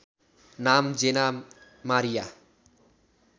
नाम Jenna Maria